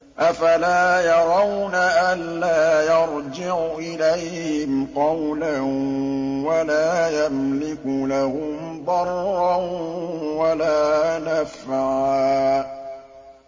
أَفَلَا يَرَوْنَ أَلَّا يَرْجِعُ إِلَيْهِمْ قَوْلًا وَلَا يَمْلِكُ لَهُمْ ضَرًّا وَلَا نَفْعًا